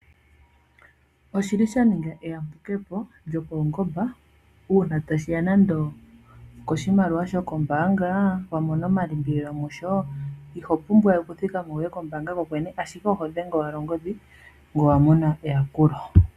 Oshi li sha ninga eyambukepo lyopaungomba uuna tashiya nande okoshimaliwa shokombaanga wa mona omalimbililo musho ihopumbwawe okuthikama wuye kombaanga kokwene ashike oho dhenge owala ongodhi ngoye owa mona eyakulo.